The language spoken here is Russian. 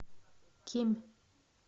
кемь